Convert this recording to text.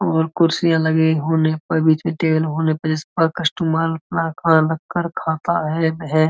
और कुर्सिया लगी होने पर बीच मे टेबल होने पे कस्टमर इसपे रखकर खाता हैं।